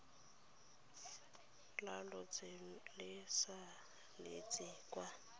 la lotseno le saletse kwa